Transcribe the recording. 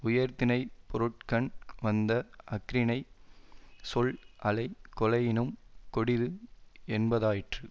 உயர்திணைப்பொருட்கண் வந்த அஃறிணைச் சொல் அலை கொலையினும் கொடிது என்பதாயிற்று